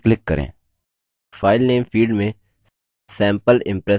file name field में sample impress type करें